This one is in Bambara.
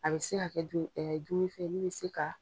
A bɛ se ka kɛ dumuni dumuni fɛn ye mun mi se ka